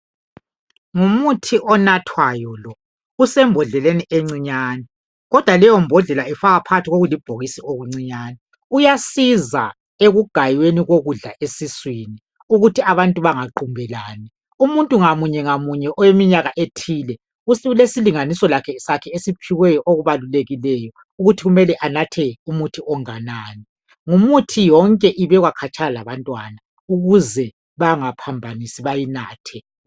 Ngumuthi onathwayo lo. Usembodleleni encinyane, kodwa leyombodlela ifakwa phakathi kokulibhokisi okuncinyane. Uyasizwa ekugayweni kokudla esiswini. Ukuthi abantu bangaqumbelani. Umuntu ngamunye, ngamunye, oleminyaka ethile, ulesilinganiso sakhe esiphiweyo, okubalulekileyo. Ukuthi kumele anathe umuthi ongakanani. Imithi yonke ifakwa khatshana labantwana. Ukuze bangaphambanisi, bayinathe.